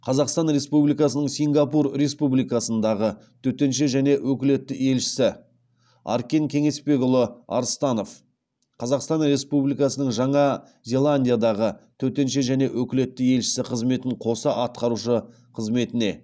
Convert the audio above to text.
қазақстан республикасының сингапур республикасындағы төтенше және өкілетті елшісі аркен кеңесбекұлы арыстанов қазақстан республикасының жаңа зеландиядағы төтенше және өкілетті елшісі қызметін қоса атқарушы қызметіне